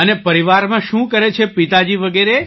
અને પરિવારમાં શું કરે છે પિતાજી વગેરે